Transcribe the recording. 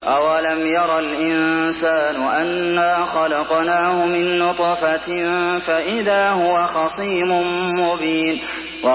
أَوَلَمْ يَرَ الْإِنسَانُ أَنَّا خَلَقْنَاهُ مِن نُّطْفَةٍ فَإِذَا هُوَ خَصِيمٌ مُّبِينٌ